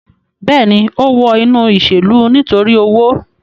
Bẹẹni, o wọ inu iṣelu nitori owo